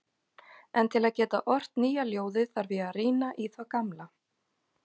En til að geta ort nýja ljóðið þarf ég að rýna í það gamla.